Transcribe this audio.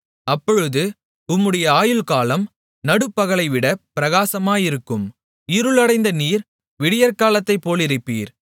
அப்பொழுது உம்முடைய ஆயுள்காலம் நடுப்பகலைவிட பிரகாசமாயிருக்கும் இருள் அடைந்த நீர் விடியற்காலத்தைப்போலிருப்பீர்